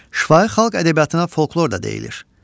Şifahi xalq ədəbiyyatına folklor da deyilir.